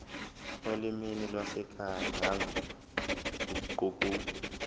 olimini lwasekhaya nangokuguquka